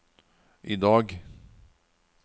idag